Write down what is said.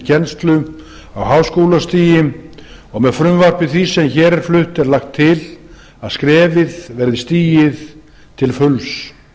kennslu á háskólastigi og með frumvarpi því sem hér er flutt er lagt til að skrefið verði stigið til fulls